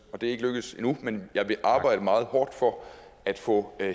og det er ikke lykkedes endnu men jeg vil arbejde meget hårdt for at få